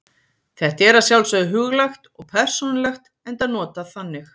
Þetta er að sjálfsögðu huglægt og persónulegt enda notað þannig.